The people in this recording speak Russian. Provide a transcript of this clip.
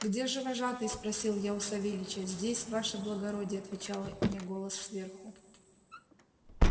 где же вожатый спросил я у савельича здесь ваше благородие отвечала мне голос сверху